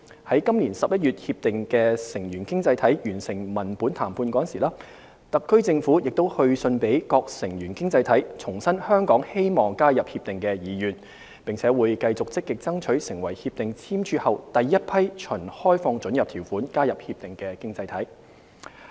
在今年11月《協定》的成員經濟體完成文本談判時，特區政府亦去信予各成員經濟體，重申香港希望加入《協定》的意願，並會繼續積極爭取成為《協定》簽署後第一批循開放准入條款加入《協定》的經濟體。